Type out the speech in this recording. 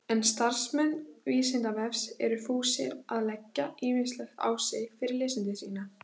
En starfsmenn Vísindavefsins eru fúsir að leggja ýmislegt á sig fyrir lesendur sína.